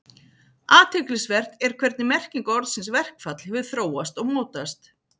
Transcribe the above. Athyglisvert er hvernig merking orðsins verkfall hefur þróast og mótast.